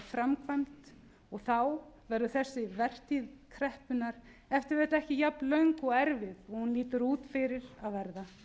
framkvæmd og þá verður þessi vertíð kreppunnar e t v ekki jafn löng og erfið og hún lítur út fyrir að verða það